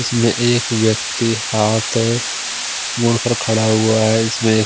इसमें एक व्यक्ति हाथ मुड़कर खड़ा हुआ है इसमे--